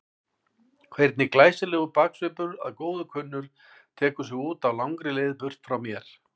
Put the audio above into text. Hvernig glæsilegur baksvipur að góðu kunnur tekur sig út á langri leið burt frá mér.